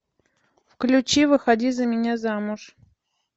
включи выходи за меня замуж